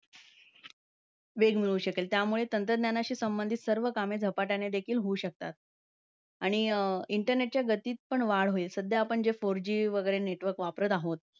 वेग मिळू शकेल. त्यामुळे तंत्रज्ञानाशी संबंधित सर्वं कामे झपाट्याने देखील होऊ शकता. आणि अं internet च्या गतीत पण वाढ होईल. सध्या आपण जे four G वगैरे network वापरत आहोत.